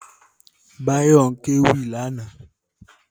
Báyọ̀ ń kéwì lánàá